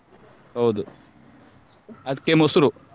ಹೌದು ಅದಕ್ಕೆ ಮೊಸರು.